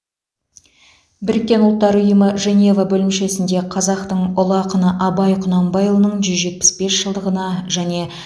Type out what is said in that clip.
біріккен ұлттар ұйымы женева бөлімшесінде қазақтың ұлы ақыны абай құнанбайұлының жүз жетпіс бес жылдығына және